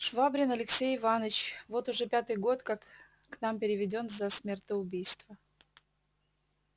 швабрин алексей иваныч вот уж пятый год как к нам переведён за смертоубийство